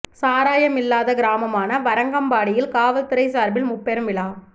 சாராயம் இல்லாத கிராமமான வரகம்பாடியில் காவல் துறை சாா்பில் முப்பெரும் விழா